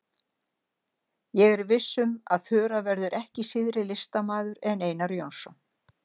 Ég er viss um að Þura verður ekki síðri listamaður en Einar Jónsson.